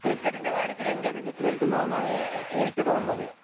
ക്രിക്കറ്റിന്‍റെ കാര്യത്തില്‍ ഇന്ത്യ മികച്ചു നില്‍ക്കുന്നു എന്നാണ് എനിക്ക് തോന്നുന്നത്.